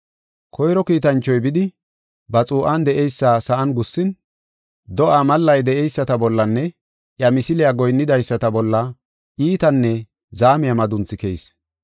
Koyro kiitanchoy bidi, ba xuu7an de7eysa sa7an gussin, do7aa mallay de7eyisata bollanne iya misiliya goyinnidaysata bolla iitanne zaamiya madunthi keyis.